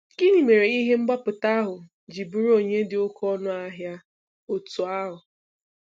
Gịnị mere ihe mgbapụta ahụ ji bụrụ onyinye dị oké ọnụ ahịa otú ahụ?